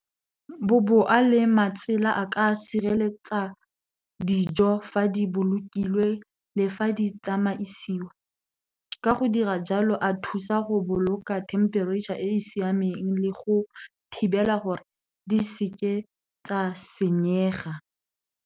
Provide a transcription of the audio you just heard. Boboa le matsela a ka sireletsa dijo fa di bolokilwe, le fa di tsamaisiwa. Ka go dira jalo, a thusa go boloka temperature e e siameng, le go thibela gore di seke tsa senyega.